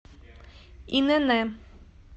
инн